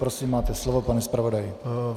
Prosím, máte slovo, pane zpravodaji.